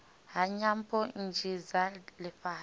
ha nyambo nnzhi dza lifhasi